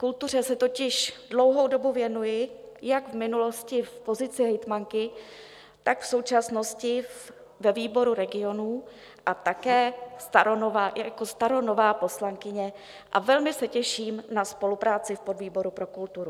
Kultuře se totiž dlouhou dobu věnuji jak v minulosti v pozici hejtmanky, tak v současnosti ve výboru regionů, také i jako staronová poslankyně a velmi se těším na spolupráci v podvýboru pro kulturu.